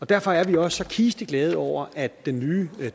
derfor er vi også så kisteglade over at den nye